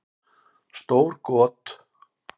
Stór got